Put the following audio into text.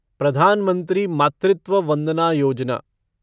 प्रधान मंत्री मातृत्व वंदना योजना